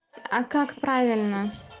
а как правильно